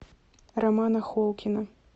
романа холкина